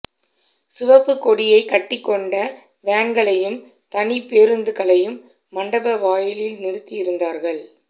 சிவப்புக்கொடியைக் கட்டிக்கொண்ட வேன்களையும் தனிப்பேருந்துகளையும் மண்டப வாயிலில் நிறுத்தி இருந்தார்கள்